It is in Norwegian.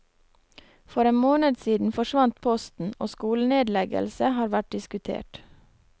For en måned siden forsvant posten, og skolenedleggelse har vært diskutert.